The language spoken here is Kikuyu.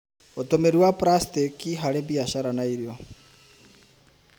ũtũmĩri wa pracitĩki harĩ biashara na irio.